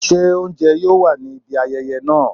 se ounjẹ yoo wa ni ibi ayẹyẹ naa?